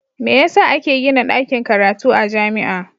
Me yasa ake Gina dakin karatu a jamia